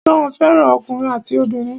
John fẹ́ràn ọkùnrin àti obìnrin.